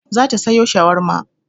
Za ta sayo shawarma.